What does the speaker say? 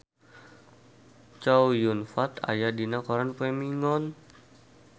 Chow Yun Fat aya dina koran poe Minggon